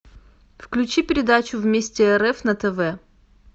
включи передачу вместе рф на тв